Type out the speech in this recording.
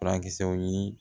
Furakisɛw ɲini